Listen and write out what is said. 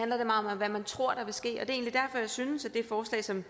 om hvad man tror der vil ske og jeg synes at det forslag som